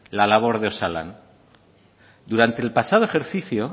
la labor de osalan durante el pasado ejercicio